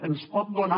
ens pot donar